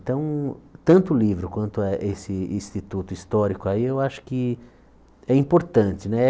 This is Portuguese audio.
Então, tanto o livro quanto a esse instituto histórico aí, eu acho que é importante né.